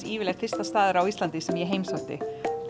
yfirleitt fyrsti staður á Íslandi sem ég heimsótti